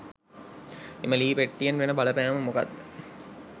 ඒ ලී පෙට්ටියෙන් වෙන බලපෑම මොකක්ද?